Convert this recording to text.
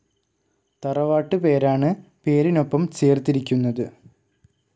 തറവാട്ട് പേരാണ് പേരിനൊപ്പം ചേർത്തിരിക്കുന്നത്.